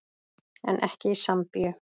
En ekki í Sambíu.